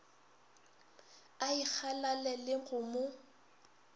a ikgalale le go mo